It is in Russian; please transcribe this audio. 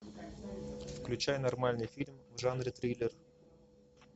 включай нормальный фильм в жанре триллер